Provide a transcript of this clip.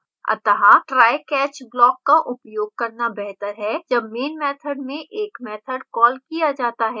अतः try catch block का उपयोग करना बेहतर है जब main method में एक मैथड कॉल किया जाता है